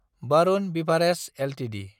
Varun beverages Ltd